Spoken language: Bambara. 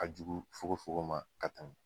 A jugu fogo fogo ma ka tɛmɛn.